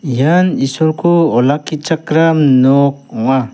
ian isolko olakkichakram nok ong·a.